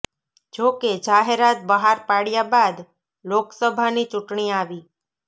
જો કે જાહેરાત બહાર પાડ્યા બાદ લોકસભાની ચૂંટણી આવી